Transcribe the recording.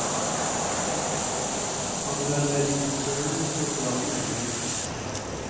Han vil arbeide i konsernet som ga ham mulighetene.